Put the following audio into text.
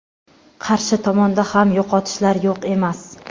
qarshi tomonda ham yo‘qotishlar yo‘q emas.